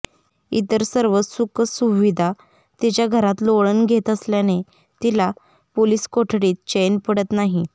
इतर सर्व सुखसुविधा तिच्या घरात लोळण घेत असल्याने तिला पोलीस कोठडीत चैन पडत नाही